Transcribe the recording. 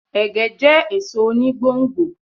Ẹ̀gẹ́ jẹ́ èso oni gbò n gbò